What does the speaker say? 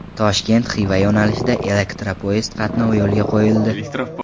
Toshkent – Xiva yo‘nalishida elektropoyezd qatnovi yo‘lga qo‘yildi.